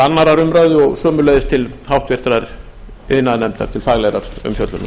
annarrar umræðu og sömuleiðis til háttvirtrar iðnaðarnefndar til faglegrar umfjöllunar